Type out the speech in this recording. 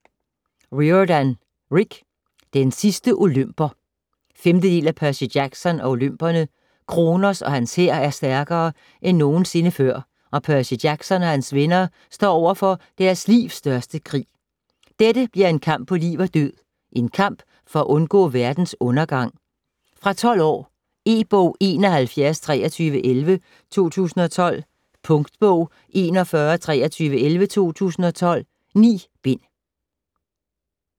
Riordan, Rick: Den sidste olymper 5. del af Percy Jackson & olymperne. Kronos og hans hær er stærkere end nogensinde før, og Percy Jackson og hans venner står overfor deres livs største krig. Dette bliver en kamp på liv og død, en kamp for at undgå verdens undergang. Fra 12 år. E-bog 712311 2012. Punktbog 412311 2012. 9 bind.